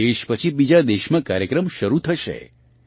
એક દેશ પછી બીજાં દેશમાં કાર્યક્રમ શરૂ થશે